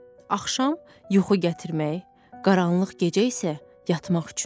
Axşam yuxu gətirmək, qaranlıq gecə isə yatmaq üçündür.